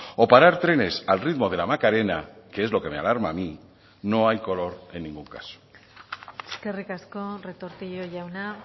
o parar trenes al ritmo de la macarena que es lo que me alarma a mí no hay color en ningún caso eskerrik asko retortillo jauna